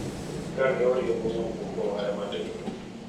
Ka ne oriembo nyamburko mare matinno,